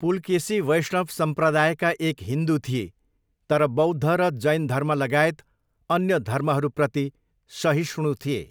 पुलकेसी वैष्णव सम्प्रदायका एक हिन्दु थिए तर बौद्ध र जैन धर्म लगायत अन्य धर्महरूप्रति सहिष्णु थिए।